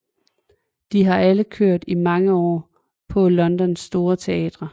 De har alle kørt i mange år på Londons store teatre